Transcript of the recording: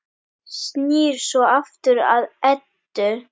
Snýr svo aftur að Eddu.